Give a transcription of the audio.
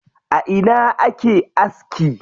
A ina ake aski?